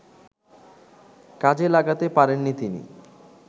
কাজে লাগাতে পারেননি তিনি